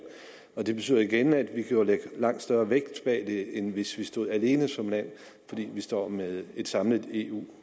det betyder igen at vi kan lægge langt større vægt bag end hvis vi stod alene som land vi står med et samlet eu